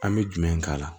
An bɛ jumɛn k'a la